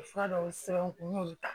Fura dɔw sɛbɛn n kun n y'olu ta